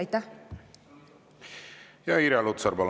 Irja Lutsar, palun!